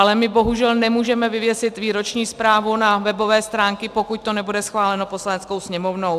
Ale my bohužel nemůžeme vyvěsit výroční zprávu na webové stránky, pokud to nebude schváleno Poslaneckou sněmovnou.